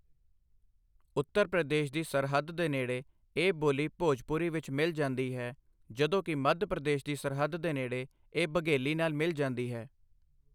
ਉੱਤਰ ਪ੍ਰਦੇਸ਼ ਦੀ ਸਰਹੱਦ ਦੇ ਨੇੜੇ, ਇਹ ਬੋਲੀ ਭੋਜਪੁਰੀ ਵਿੱਚ ਮਿਲ ਜਾਂਦੀ ਹੈ, ਜਦੋਂ ਕਿ ਮੱਧ ਪ੍ਰਦੇਸ਼ ਦੀ ਸਰਹੱਦ ਦੇ ਨੇੜੇ ਇਹ ਬਘੇਲੀ ਨਾਲ ਮਿਲ ਜਾਂਦੀ ਹੈ।